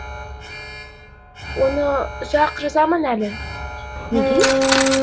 оны ұзақ қ жазамын әлі неге